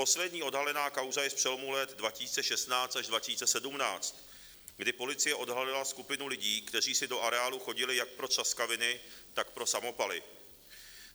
Poslední odhalená kauza je z přelomu let 2016 až 2017, kdy policie odhalila skupinu lidí, kteří si do areálu chodili jak pro třaskaviny, tak pro samopaly.